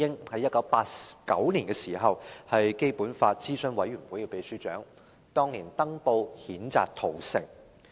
在1989年，他是基本法諮詢委員會的秘書長，當年曾登報譴責屠城。